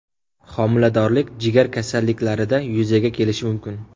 Homiladorlik, jigar kasalliklarida yuzaga kelishi mumkin.